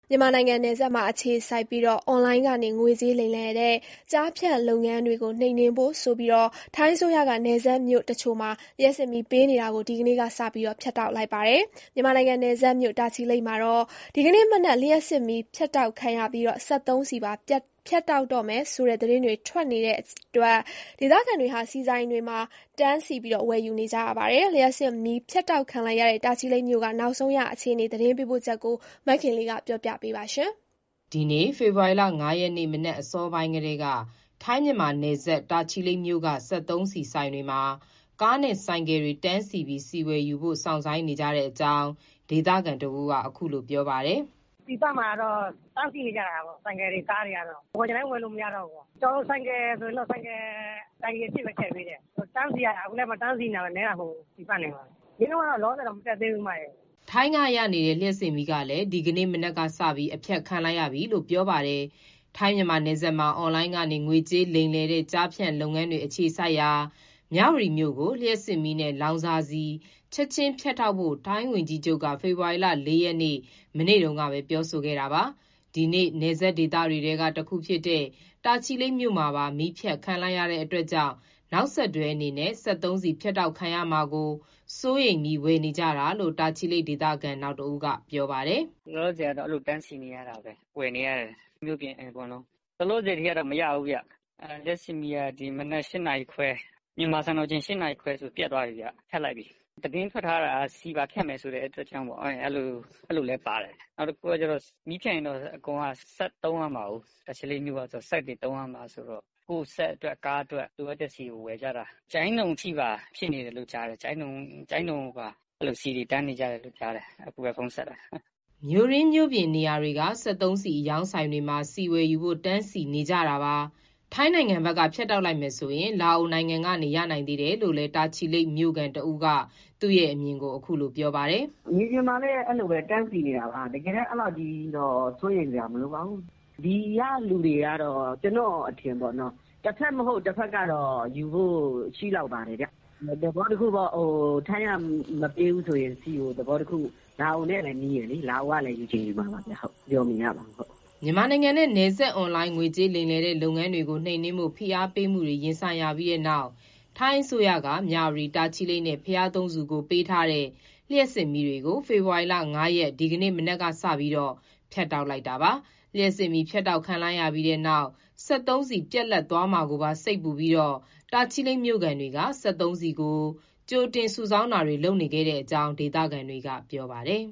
မြန်မာနိုင်ငံ နယ်စပ်မှာ အခြေစိုက်ပြီး အွန်လိုင်းကနေ ငွေကြေးလိမ်လည်တဲ့ ကျားဖြန့်လုပ်ငန်းတွေကို နှိမ်နှင်းဖို့ဆိုပြီး ထိုင်းအစိုးရက နယ်စပ်မြို့တချို့မှာ လျှပ်စစ်မီးပေးနေတာကို ဒီကနေ့ကစ ဖြတ်တောက်လိုက်ပါတယ်။ မြန်မာနိုင်ငံနယ်စပ်မြို့ တာချီလိတ်မှာတော့ ဒီကနေ့မနက် လျှပ်စစ်မီးဖြတ်တောက်ခံရပြီး စက်သုံးဆီပါဖြတ်တောက်မယ်ဆိုတဲ့ သတင်းတွေ ထွက်နေတဲ့အတွက် ဒေသခံတွေဟာ ဆီဆိုင်တွေမှာ တန်းစီ ဝယ်ယူနေကြပါတယ်။ လျှပ်စစ်မီးဖြတ်တောက်ခံလိုက်ရတဲ့ တာချီလိတ်မြို့က အခြေအနေ ရန်ကုန်ကနေ သတင်းပေးပို့ထားပါတယ်။ ဒီနေ့ ဖေဖော်ဝါရီလ ၅ ရက် နေ့မနက် အစောပိုင်းကတည်းက ထိုင်း-မြန်မာနယ်စပ် တာချီလိတ်မြို့မှာ စက်သုံးဆီဆိုင်တွေမှာ ကားနဲ့ဆိုင်ကယ်တွေ တန်းစီပြီး ဆီဝယ်ယူဖို့ စောင့်ဆိုင်းနေကြတဲ့အကြောင်း ဒေသခံတဦးက ပြောပါတယ်။ "ဆီပန့်မှာ ဆိုင်ကယ်တွေ၊ ကားတွေ တန်းစီနေကြတာပေါ့။ ဝယ်ချင်တိုင်း ဝယ်လို့မရတော့ဘူး။ ဆိုင်ကယ်ဆိုရင်တော့ တိုင်ကီအပြည့်ထည့်ပေးတယ်။ တန်းစီနေရတာ အခုလည်း တန်းစီနေကြတာ နည်းတာမဟုတ်ဘူး။ စျေးနှုန်းကတော့ လောလောဆယ်တော့ မတက်သေးဘူး" ထိုင်းကနေရနေတဲ့ လျှပ်စစ်မီးလည်း ဒီကနေ့မနက်ကစပြီး အဖြတ်ခံလိုက်ရပြီလို့ ပြောပါတယ်။ ထိုင်း-မြန်မာနယ်စပ်မှာ အွန်လိုင်းကနေ ငွေကြေးလိမ်လည်တဲ့ ကျားဖြန့်လုပ်ငန်းတွေ အခြေစိုက်ရာ မြဝတီမြို့ကို လျှပ်စစ်မီးနဲ့ လောင်စာဆီ ချက်ချင်းဖြတ်တောက်ဖို့ ထိုင်းဝန်ကြီးချုပ်က ဖေဖော်ဝါရီလ ၄ ရက်နေ့၊ မနေ့တုန်းကပဲ ပြောဆိုခဲ့တာပါ။ ဒီနေ့ နယ်စပ်ဒေသတွေထဲက တခုဖြစ်တဲ့ တာချီလိတ်မြို့မှာပါ မီးဖြတ်ခံလိုက်ရတာကြောင့် နောက်ဆက်တွဲအနေနဲ့ စက်သုံးဆီဖြတ်တောက်ခံရမှာကို စိုးရိမ်ပြီး ဝယ်နေကြတာလို့ တာချီလိတ်ဒေသခံ နောက်တဦးက ပြောပါတယ်။ "လောလောဆယ်ကတော့ အဲလို တန်းစီနေရတာပဲ။ မြို့တွင်းမြို့ပြင် အကုန်လုံး လိုသလောက်မရဘူးဗျ။ လျှပ်စစ်မီးက ဒီမနက် မြန်မာစံတော်ချိန် ၈ နာရီခွဲလောက်မှာ ပြတ်သွားပြီဗျ၊ ဖြတ်လိုက်ပြီ။ သတင်းထွက်ထားတာက ဆီပါဖြတ်မယ်ဆိုတဲ့ အတွက်ကြောင့်မို့ အဲလိုလည်းပါတယ်။ နောက်တခုက မီးဖြတ်ရင်တော့ အကုန်လုံးက စက်သုံးရမှာကို။ တာချီလိတ်မြို့က စက်သုံးရမှာဆိုတော့ ကိုယ့်စက်အတွက်၊ ကားအတွက် လိုအပ်တဲ့ဆီကို ဝယ်ကြတာ။ ကျိုင်းတုံအထိပါ ဖြစ်နေတယ်လို့ကြားတယ်။ အခုပဲဖုန်းဆက်တာ ကျိုင်းတုံမှာပါ ဆီတွေတန်းနေကြတယ်လို့ ကြားတယ်။" မြို့တွင်းမြို့ပြင်နေရာတွေက စက်သုံးဆီအရောင်းဆိုင်တွေမှာ ဆီဝယ်ယူဖို့ တန်းစီနေကြတာပါ။ ထိုင်းနိုင်ငံဘက် ဖြတ်တောက်လိုက်မယ် ဆိုရင်တောင် လာအိုနိုင်ငံကနေ ရနိုင်သေးတယ်လို့လည်း တာချီလိတ်မြို့ခံ တဦးကလည်း သူ့ရဲ့အမြင်ကို ပြောပါတယ်။ "မြေပြင်မှာလည်း အဲလိုပဲ တန်းစီနေတာပါ။ တကယ်လည်း အဲလောက်ကြီးတော့ စိုးရိမ်စရာမလိုပါဘူး။ ကျနော့်အထင်တော့ ဒီကလူတွေကတော့ တဖက်မဟုတ် တဖက်ကနေတော့ ယူဖို့ရှိလောက်ပါတယ်ဗျ။ သဘောတခုပေါ့ ထိုင်းက ဆီမပေးဘူးဆိုရင် လာအိုနဲ့လည်း နီးတယ်လေ။ လာအိုကနေ ယူချင်ယူမှာပါ။ ပြောလို့တော့မရဘူး။" မြန်မာနိုင်ငံနဲ့ နယ်စပ် အွန်လိုင်းငွေကြေးလိမ်လည်တဲ့ လုပ်ငန်းတွေကို နှိမ်နှင်းဖို့ ဖိအားပေးမှုတွေ ရင်ဆိုင်ရပြီးတဲ့နောက် ထိုင်းအစိုးရက မြဝတီ၊ တာချီလိတ်နဲ့ ဘုရားသုံးဆူကို ပေးထားတဲ့ လျှပ်စစ်မီးတွေကို ဖေဖော်ဝါရီလ ၅ ရက်၊ ဒီကနေ့ မနက်ကစပြီး ဖြတ်တောက်လိုက်တာပါ။ လျှပ်စစ်မီးဖြတ်တောက် ခံလိုက်ရပြီးတဲ့နောက် စက်သုံးဆီပြတ်လပ်သွားမှာကိုပါ စိတ်ပူပြီး တာချီလိတ်မြို့ခံတွေ စက်သုံးဆီ ကြိုတင်စုဆောင်းတာတွေ လုပ်နေတဲ့အကြောင်း ဒေသခံတွေက ပြောပါတယ်